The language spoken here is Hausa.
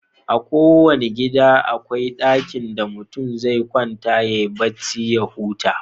A kowanna gida da akwai ɗakin da mutum zai kwanta yayi bacci ya huta.